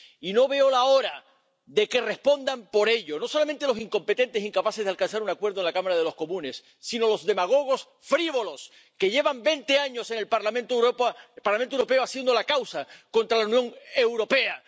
Y no veo la hora de que respondan por ello, no solamente los incompetentes, incapaces de alcanzar un acuerdo en la Cámara de los Comunes, sino los demagogos frívolos, que llevan veinte años en el Parlamento Europeo defendiendo la causa contra la Unión Europea.